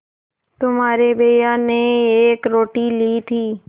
तुम्हारे भैया ने एक रोटी ली थी